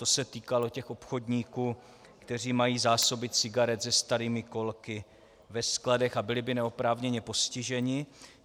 To se týkalo těch obchodníků, kteří mají zásoby cigaret se starými kolky ve skladech a byli by neoprávněně postiženi.